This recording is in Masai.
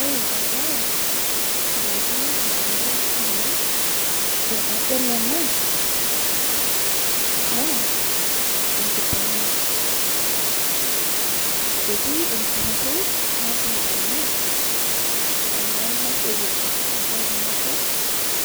Ore ebae, nalotu indamunot ainei, tenadol ena, naa enkiteng'ena. Etii enkitarri natii ene, ena naishopito enchati naibor,